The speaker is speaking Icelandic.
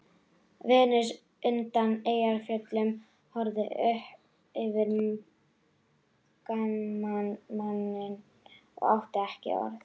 Venus undan Eyjafjöllum horfði á uppfinningamanninn og átti ekki orð.